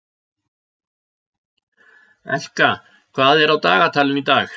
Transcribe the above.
Elka, hvað er á dagatalinu í dag?